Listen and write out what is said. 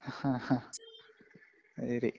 ആഹ്ഹ ആ, അത് ശരി.